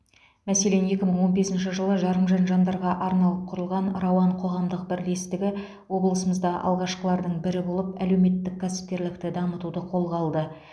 мәселен екі мың он бесінші жылы жарымжан жандарға арналып құрылған рауан қоғамдық бірлестігі облысымызда алғашқылардың бірі болып әлеуметтік кәсіпкерлікті дамытуды қолға алды